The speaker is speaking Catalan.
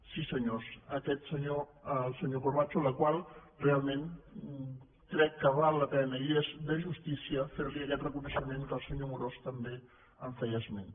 sí senyors aquest senyor el senyor corbacho la qual cosa realment crec que val la pena i és de justícia fer li aquest reconeixement que el senyor amorós també en feia esment